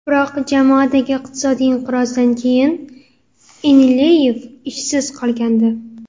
Biroq jamoadagi iqtisodiy inqirozdan keyin Inileyev ishsiz qolgandi.